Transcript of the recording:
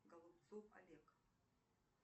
голубцов олег